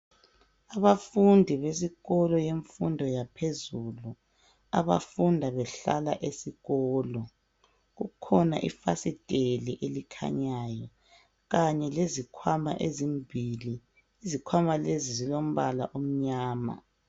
Abafundi besikolo kumfundo yaphezulu abafunda behlala esikolo, kukhona ifasiteli elikhanyayo kanye lezikhwama ezimbili. Izikhwama lezi zilombala omnyama.